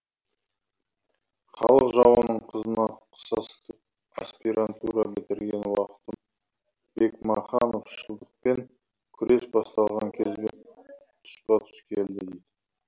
халық жауының қызына қысастық аспирантура бітірген уақытым бекмахановшылдықпен күрес басталған кезбен тұспа тұс келді